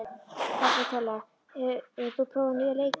Kapitola, hefur þú prófað nýja leikinn?